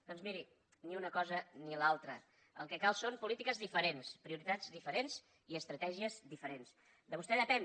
doncs miri ni una cosa ni l’altra el que calen són polítiques diferents prioritats diferents i estratègies diferents de vostè depèn